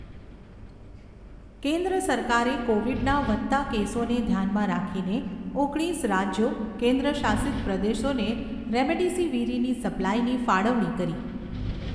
કેન્દ્ર સરકારે કોવિડના વધતા કેસોને ધ્યાનમાં રાખીને ઓગણીસ રાજ્યો કેન્દ્રશાસિત પ્રદેશોને રેમડેસિવિરીની સપ્લાઈની ફાળવણી કરી